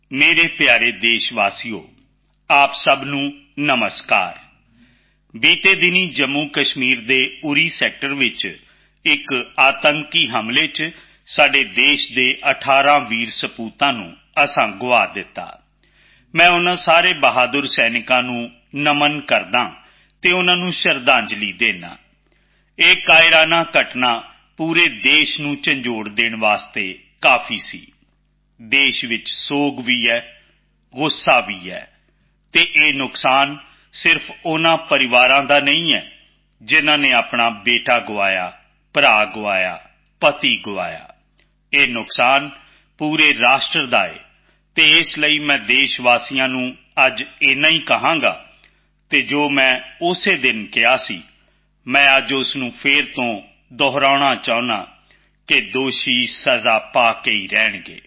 ਮੇਰੇ ਪਿਆਰੇ ਦੇਸ਼ਵਾਸੀਓ ਤੁਹਾਨੂੰ ਸਾਰਿਆਂ ਨੂੰ ਨਮਸਕਾਰ ਪਿਛਲੇ ਦਿਨਾਂ ਵਿੱਚ ਜੰਮੂਕਸ਼ਮੀਰ ਦੇ ਉੜੀ ਖੇਤਰ ਵਿੱਚ ਇੱਕ ਦਹਿਸ਼ਤੀ ਹਮਲੇ ਵਿੱਚ ਅਸੀਂ ਦੇਸ਼ ਦੇ 18 ਵੀਰ ਸਪੂਤਾਂ ਨੂੰ ਖੋ ਦਿੱਤਾ ਹੈ ਮੈਂ ਇਨ੍ਹਾਂ ਸਾਰੇ ਬਹਾਦਰ ਸੈਨਿਕਾਂ ਨੂੰ ਪ੍ਰਣਾਮ ਕਰਦਾ ਹਾਂ ਅਤੇ ਉਨ੍ਹਾਂ ਨੂੰ ਸ਼ਰਧਾਂਜਲੀ ਦਿੰਦਾ ਹਾਂ ਇਹ ਕਾਇਰਤਾ ਦੀ ਘਟਨਾ ਪੂਰੇ ਦੇਸ਼ ਨੂੰ ਖਿੰਡਾਉਣ ਲਈ ਕਾਫੀ ਸੀ ਦੇਸ਼ ਵਿੱਚ ਸੋਗ ਵੀ ਹੈ ਗੁੱਸਾ ਵੀ ਹੈ ਅਤੇ ਇਹ ਨੁਕਸਾਨ ਸਿਰਫ਼ ਉਨ੍ਹਾਂ ਪਰਿਵਾਰਾਂ ਦਾ ਨਹੀਂ ਹੈ ਜਿਨ੍ਹਾਂ ਨੇ ਆਪਣਾ ਬੇਟਾ ਖੋਇਆ ਭਰਾ ਖੋਇਆ ਪਤੀ ਖੋਇਆ ਇਹ ਨੁਕਸਾਨ ਪੂਰੇ ਰਾਸ਼ਟਰ ਦਾ ਹੈ ਅਤੇ ਇਸ ਲਈ ਮੈਂ ਦੇਸ਼ਵਾਸੀਆਂ ਨੂੰ ਅੱਜ ਇੰਨਾ ਹੀ ਕਹਾਂਗਾ ਅਤੇ ਜੋ ਮੈਂ ਉਸ ਦਿਨ ਕਿਹਾ ਸੀ ਮੈਂ ਅੱਜ ਉਸ ਨੂੰ ਮੁੜ ਦੁਹਰਾਉਣਾ ਚਾਹੁੰਦਾ ਹਾਂ ਕਿ ਦੋਸ਼ੀ ਸਜ਼ਾ ਪਾ ਕੇ ਹੀ ਰਹਿਣਗੇ